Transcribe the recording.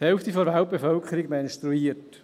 Die Hälfte der Weltbevölkerung menstruiert.